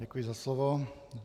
Děkuji za slovo.